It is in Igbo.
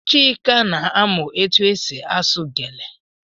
Chika na-amụ etụ esị asụ gele.